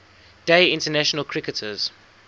day international cricketers